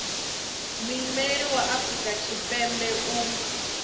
muimeli wa afrika tshipembe u